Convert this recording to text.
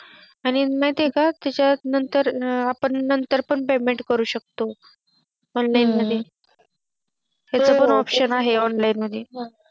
आणि ते माहिती आहे का आपण नंतर पण Payment करू शकतो Online मध्ये हम्म तस पण Option आहे Online मध्ये